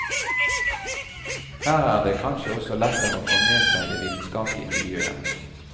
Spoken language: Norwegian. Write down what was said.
Her er det kanskje også lettere å få med seg det vitenskapelige miljøet.